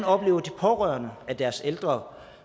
oplever de pårørende at deres ældre